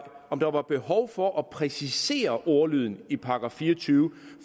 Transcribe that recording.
om der var behov for at præcisere ordlyden i § fire og tyve